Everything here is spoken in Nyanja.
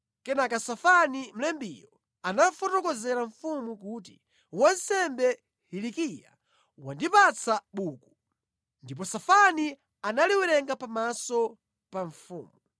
Kenaka Safani mlembiyo, anafotokozera mfumu kuti, “Wansembe Hilikiya wandipatsa buku.” Ndipo Safani analiwerenga pamaso pa mfumu.